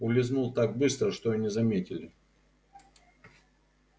улизнул так быстро что и не заметили